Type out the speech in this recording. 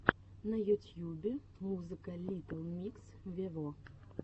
на ютьюбе музыка литтл микс вево